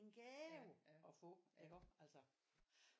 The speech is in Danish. En gave at få iggå altså